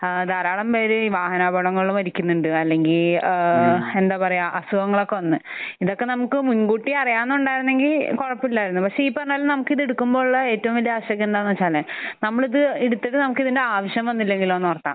ആ ധാരാളം പേര് വാഹനാപകടങ്ങളിൽ മരിക്കുന്നുണ്ട്. അല്ലെങ്കിൽ ഏഹ് എന്താ പറയാ അസുഖങ്ങൾ ഒക്കെ വന്ന്. ഇതൊക്കെ നമുക്ക് മുൻകൂട്ടി അറിയാവുന്നതായിരുന്നെങ്കിൽ കുഴപ്പമില്ലായിരുന്നു. പക്ഷെ ഈ പറഞ്ഞത് നമുക്ക് ഇത് എടുക്കുമ്പോഴുള്ള ഏറ്റവും വലിയ ആശങ്ക എന്താണെന്ന് വെച്ചാൽ നമ്മൾ ഇത് എടുത്തത് നമുക്ക് ഇതിന്റെ ആവശ്യം വന്നില്ലെങ്കിലോ എന്നോർത്താണ്.